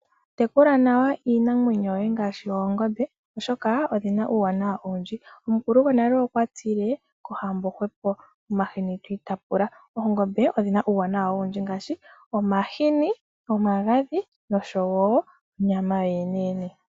Tekula nawa iinamwenyo yoye ngaashi oongombe oshoka, odhina uuwanawa owundji. Omukulu gwonale okwa tile: kohambo gwepo, omahini twiitapula. Oongombe odhina omauwanawa ogendji ngasshi omahini, omagadhi nonyama.